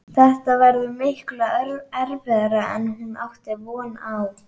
Þetta verður miklu erfiðara en hún átti von á.